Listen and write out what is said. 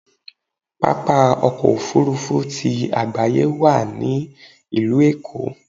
Pápá ọkọ̀ Òfurufú ti àgbáyé wà ní ìlú Èkó.